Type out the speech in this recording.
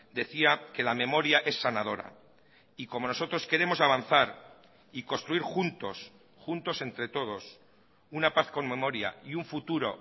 decía que la memoria es sanadora y como nosotros queremos avanzar y construir juntos juntos entre todos una paz con memoria y un futuro